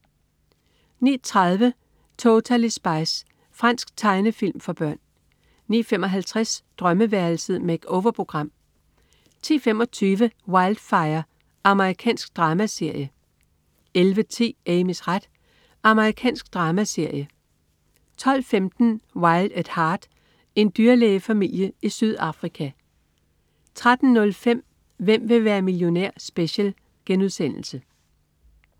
09.30 Totally Spies. Fransk tegnefilm for børn 09.55 Drømmeværelset. Make-over-program 10.25 Wildfire. Amerikansk dramaserie 11.10 Amys ret. Amerikansk dramaserie 12.15 Wild at Heart. En dyrlægefamilie i Sydafrika 13.05 Hvem vil være millionær? Special*